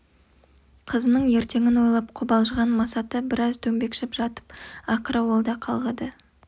қызының ертеңін ойлап қобалжыған масаты біраз дөңбекшіп жатып ақыры ол да қалғыды